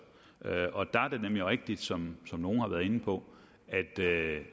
og der er det nemlig rigtigt som nogle har været inde på